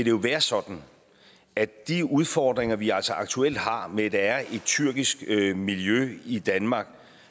jo være sådan at de udfordringer vi altså aktuelt har med at der er et tyrkisk miljø i danmark